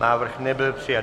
Návrh nebyl přijat.